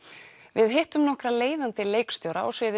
við hittum nokkra leiðandi leikstjóra á sviði